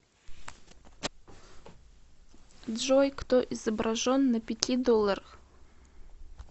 джой кто изображен на пяти долларах